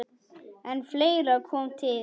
En fleira kom til.